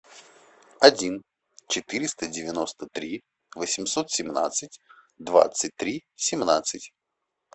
один четыреста девяносто три восемьсот семнадцать двадцать три семнадцать